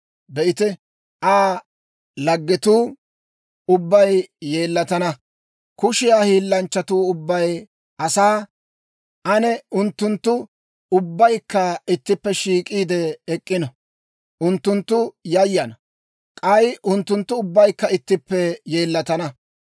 Be'ite, Aa laggetuu ubbay yeellatana; kushiyaa hiillanchchatuu ubbay asaa. Ane unttunttu ubbaykka ittippe shiik'iide ek'k'ino. Unttunttu yayana; k'ay unttunttu ubbaykka ittippe yeellatana.